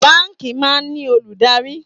Báńkì máa ń ní olùdarí